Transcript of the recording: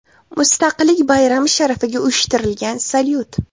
Mustaqillik bayrami sharafiga uyushtirilgan salyut.